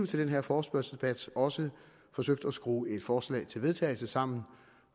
til den her forespørgselsdebat også forsøgt at skrue et forslag til vedtagelse sammen